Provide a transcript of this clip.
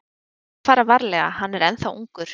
Við þurfum að fara varlega, hann er ennþá ungur.